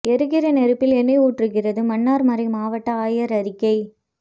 எரிகிற நெருப்பில் எண்ணை ஊற்றுகிறது மன்னார் மறை மாவட்ட ஆயர் அறிக்கை